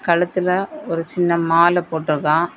கழுத்துல ஒரு சின்ன மால போட்டிருக்கான்.